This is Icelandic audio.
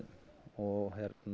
og